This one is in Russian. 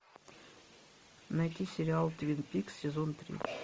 найти сериал твин пикс сезон три